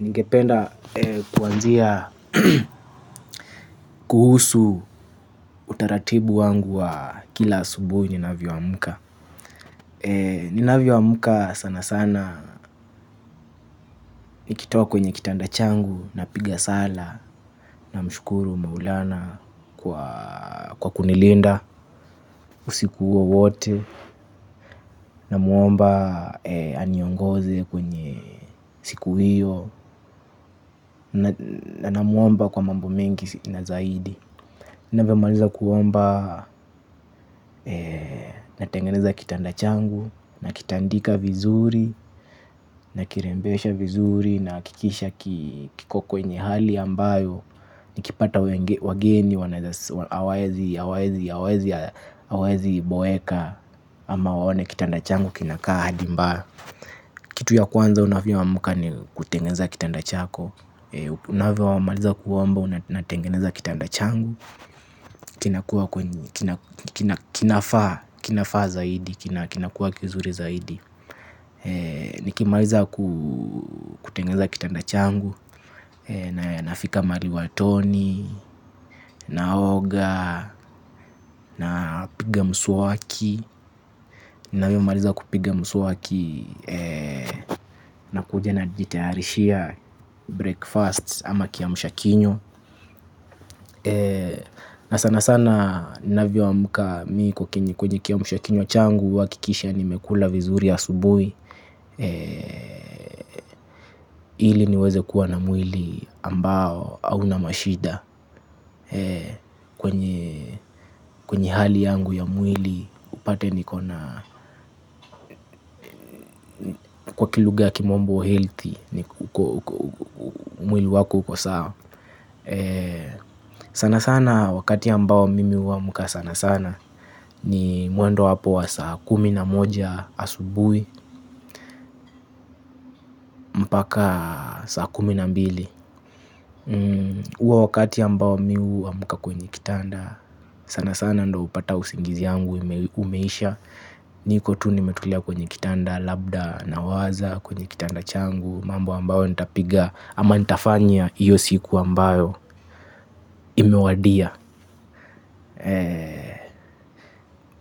Ningependa kwanzia kuhusu utaratibu wangu wa kila asubuhi ninavyoamka. Ninavyoamka sana sana, nikitoka kwenye kitanda changu napiga sala. Namshukuru Maulana kwa kunilinda usiku huo wote. Namuomba aniongoze kwenye siku hio. Namuomba kwa mambo mengi na zaidi. Ninavyomaliza kuomba, natengeneza kitanda changu nakitandika vizuri nakirembesha vizuri nahakikisha kiko kwenye hali ambayo nikipata wageni hawawezi boeka ama waone kitanda changu kinakaa hali mbaya. Kitu ya kwanza unavyomka ni kutengeneza kitanda chako. Unavyomaliza kuomba na tengeneza kitanda changu. Kinakua kinafaa, kinafaa zaidi, kinakuwa kizuri zaidi. Nikimaliza kutengeza kitanda changu. Nafika mahali watoni, na oga, napiga mswaki, ninavyo maliza kupiga mswaki nakuja najitayarishia breakfast ama kiamsha kinywa na sana sana ninavyoamka kwenye kiamsha kinywa changu huhakikisha nimekula vizuri asubuhi. Ili niweze kuwa na mwili ambao hauna mashida. Kwenye hali yangu ya mwili upate kwa kilugha ya kimombo; healthy. Mwili wako uko sawa. Sana sana wakati ambao mimi huamka sana sana. Ni mwendo wa hapo wa saa kumi na moja asubuhi. Mpaka saa kumi na mbili. Huwa wakati ambao mimi huamka kwenye kitanda, sana sana ndio hupata usingizi yangu umeisha. Niko tu nimetulia kwenye kitanda labda nawaza kwenye kitanda changu, mambo ambayo nitapiga ama nitafanya hio siku ambayo imewadia.